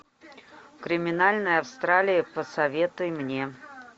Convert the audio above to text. криминальная австралия посоветуй мне